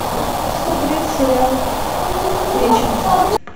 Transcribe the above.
смотреть сериал вечность